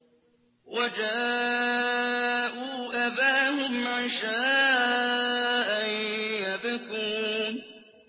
وَجَاءُوا أَبَاهُمْ عِشَاءً يَبْكُونَ